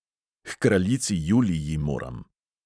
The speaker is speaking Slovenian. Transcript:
"H kraljici juliji moram."